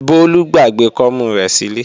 Bólú gbàgbé kọ́mú rẹ̀ sílé